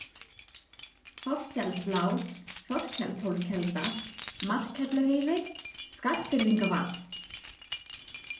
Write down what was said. Hofsselsblá, Þorkelshólskelda, Markhelluheiði, Skagfirðingavað